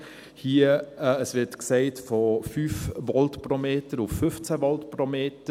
die Rede ist von 5 Volt pro Meter auf 15 Volt pro Meter.